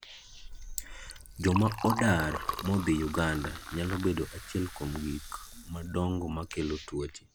Joma odar modhi Uganda nyalo bedo achiel kuom gik madongo makelo tuoche.